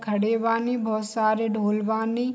खड़े बानी बहुत सारे ढोल बानी।